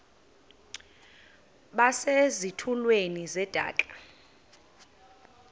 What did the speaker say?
base zitulmeni zedaka